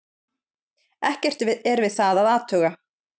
Ekkert er við það að athuga.